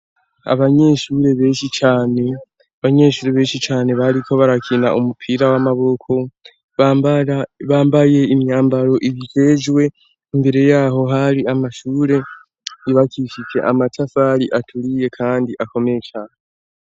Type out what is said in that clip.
Abanyeshure benshi cane, bariko barakina umupira w'amaboko bambaye imyambaro ibikejwe imbere yaho hari amashure, yubakishije amatafari aturiye kandi akomeye cane.